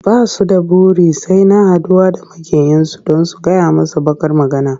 Ba su da buri sai na haɗuwa da maƙiyinsu don su gyaya masa baƙar magana.